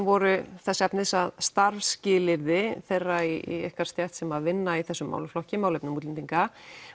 voru þess efnis að starfsskilyrði þeirra í ykkar stétt sem vinna í þessum málaflokki málefnum útlendinga